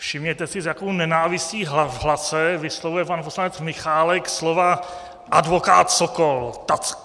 Všimněte si, s jakou nenávistí v hlase vyslovuje pan poslanec Michálek slova "advokát Sokol".